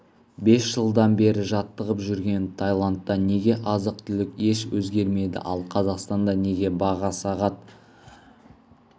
бес жылдан бері жаттығып жүрген тайландта неге азық түлік еш өзгермеді ал қазақстанда неге баға сағат